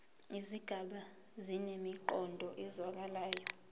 izigaba zinemiqondo ezwakalayo